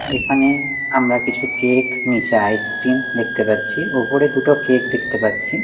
এখানে আমরা কিছু কেক নীচে আইসক্রিম দেখতে পাচ্ছি ওপরে দুটো কেক দেখতে পাচ্ছি।